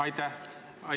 Aitäh!